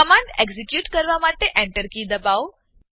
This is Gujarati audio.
કમાંડ એક્ઝીક્યુટ કરવા માટે Enter કી દબાવો